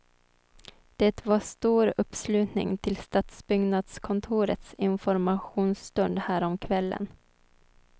Det var stor uppslutning till stadsbyggnadskontorets informationsstund häromkvällen.